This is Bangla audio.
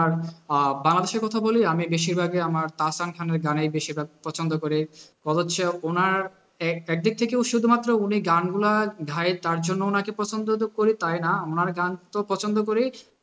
আর আহ বাংলাদেশের কথা বলি আমি বেশিরভাগই আমার তাসরান খানের গানই বেশিরভাগ পছন্দ করি, অথচ ওনার একদিক থেকেও শুধুমাত্র উনি গানগুলা তার জন্য ওনাকে পছন্দ তো করি তাই না, ওনার গান তো পছন্দ করি।